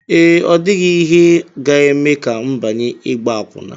Ee, ọ dịghị ihe ga-eme ka m banye ịgba akwụna